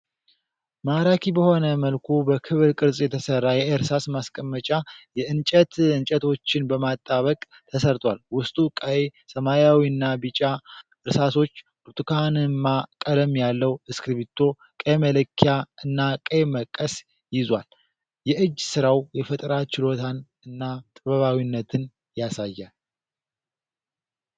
ማራኪ በሆነ መልኩ በክብ ቅርፅ የተሰራ የእርሳስ ማስቀመጫ የእንጨት እንጨቶችን በማጣበቅ ተሰርቷል። ውስጡ ቀይ፣ ሰማያዊና ቢጫ እርሳሶች፤ ብርቱካንማ ቀለም ያለው እስክሪብቶ፤ ቀይ መለኪያ እና ቀይ መቀስ ይዟል። የእጅ ስራው የፈጠራ ችሎታን እና ጥበባዊነትን ያሳያል።